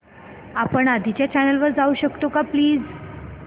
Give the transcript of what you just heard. आपण आधीच्या चॅनल वर जाऊ शकतो का प्लीज